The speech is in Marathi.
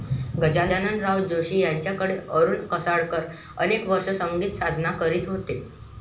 गजाननराव जोशी यांच्याकडेही अरूण कशाळकर अनेक वर्षे संगीतसाधना करीत होते.